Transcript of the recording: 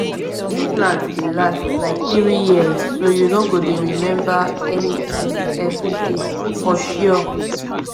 implant dey last like three years so you no go dey remember anything every day. for sure